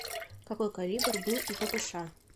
какой калибр был у ппш